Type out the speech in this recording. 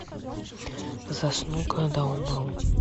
засну когда умру